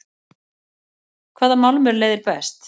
hvaða málmur leiðir best